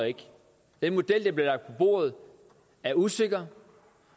den model der er bordet er usikker